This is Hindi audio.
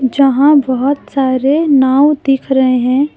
जहां बहोत सारे नाव दिख रहे हैं।